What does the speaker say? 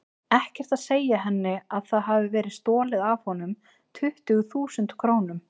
Ekkert að segja henni að það hafi verið stolið af honum tuttugu þúsund krónum.